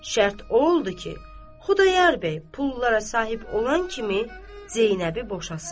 Şərt o oldu ki, Xudayar bəy pullara sahib olan kimi Zeynəbi boşasın.